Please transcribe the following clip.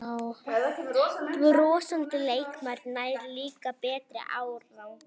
Brosandi leikmaður nær líka betri árangri